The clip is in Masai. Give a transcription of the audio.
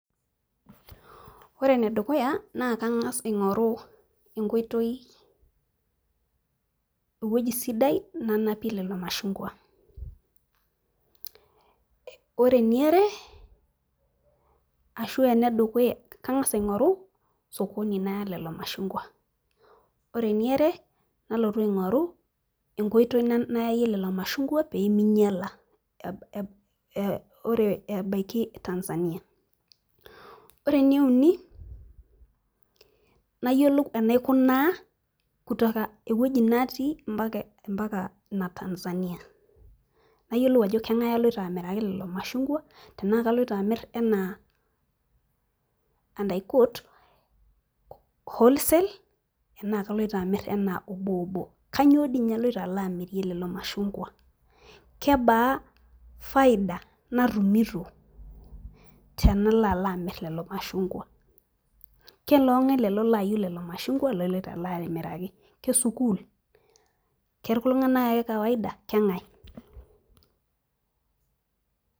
ore ene dukuya naa kangas aing'oru enkoitoi, ewueji sidai nanpie lelo mashungua, ore eniare ashu ene dukuya kangas aing'oru sokoni naya lelo mashungua, ore eniare nalotu aing'oru, enkoitoi nayayie lelo mashungua pee ming'ila, ore, ebaiki tanzania, ore eneuni, nayiolou enaikunaa kutoka ewueji natii mpaka ina tanzania. nayiolou ajo kenagae aloito amiraki lelo mashungua tenaa kaloito amir anaa, and i court wholesale naa kaloito dii ninye aloito amirie lelo mashungua, kebaa faida natumito tenalo alo amir lelo mashungua, keloo ng'ae lelo laayieu lelo mashungua laloito amiraki.ke sukuul, keltunganak ake kawaida, keng'ae.